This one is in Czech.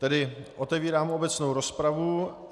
Tedy otevírám obecnou rozpravu.